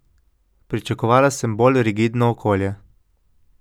Pričakovala sem bolj rigidno okolje.